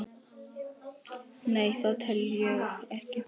Nei, það tel ég ekki.